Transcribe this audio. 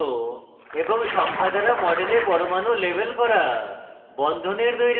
element চিহ্ন এবং সংখ্যা দ্বারা model পরমাণু label করা